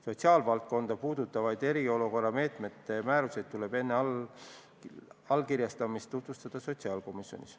Sotsiaalvaldkonda puudutavaid eriolukorra meetmete määrusi tuleb enne allkirjastamist tutvustada sotsiaalkomisjonis.